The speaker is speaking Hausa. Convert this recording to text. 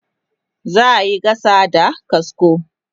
za'a Yi gasa da kasko